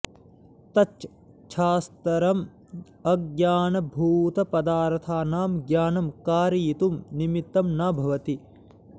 तच्च शास्त्रम् अज्ञानभूतपदार्थानां ज्ञानं कारयितुं निमित्तं न भवति